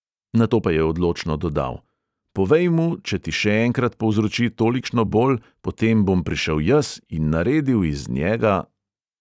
Nato pa je odločno dodal: "povej mu, če ti še enkrat povzroči tolikšno bol, potem bom prišel jaz in naredil iz njega ..."